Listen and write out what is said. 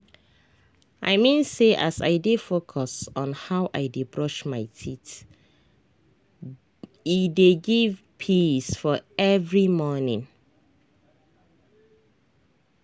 i mean say as i dey focus on how i dey brush my teethe dey give peace for every morning.